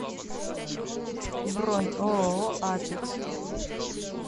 бронь ооо апекс